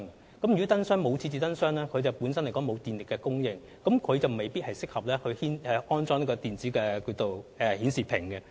若不能在巴士站設置燈箱，便沒有電力供應，那麼便未必適合安裝電子資訊顯示屏。